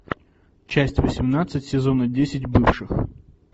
часть восемнадцать сезона десять бывших